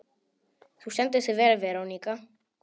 Þú stendur þig vel, Verónika!